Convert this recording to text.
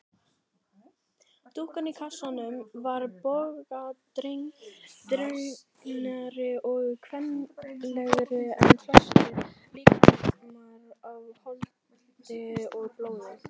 Dúkkan í kassanum var bogadregnari og kvenlegri en flestir líkamar af holdi og blóði.